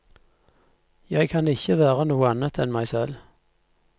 Jeg kan ikke være noe annet enn meg selv.